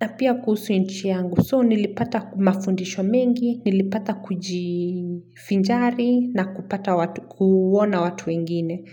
na pia kuhusu nchi yangu. So, nilipata kumafundisho mengi, nilipata kujivinjari na kupata kuona watu wengine.